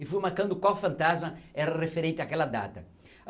E fui marcando qual fantasma era referente àquela data.